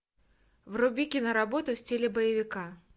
вруби киноработу в стиле боевика